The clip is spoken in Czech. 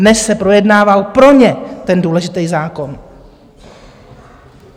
Dnes se projednával pro ně ten důležitý zákon.